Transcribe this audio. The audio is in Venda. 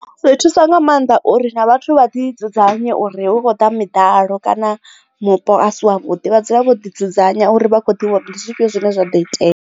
Zwi thusa nga maanḓa uri na vhathu vha ḓi dzudzanya uri hu khou ḓa miḓalo kana mupo a si a vhuḓi vha dzule vho ḓi dzudzanya uri vha kho ḓivha uri ndi zwifhio zwine zwa do itea.